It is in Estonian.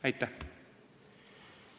Aitäh!